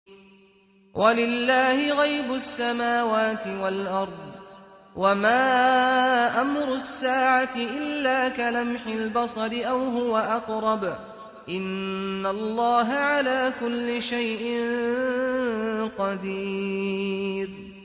وَلِلَّهِ غَيْبُ السَّمَاوَاتِ وَالْأَرْضِ ۚ وَمَا أَمْرُ السَّاعَةِ إِلَّا كَلَمْحِ الْبَصَرِ أَوْ هُوَ أَقْرَبُ ۚ إِنَّ اللَّهَ عَلَىٰ كُلِّ شَيْءٍ قَدِيرٌ